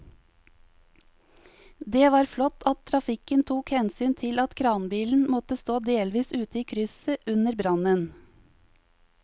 Det var flott at trafikken tok hensyn til at kranbilen måtte stå delvis ute i krysset under brannen.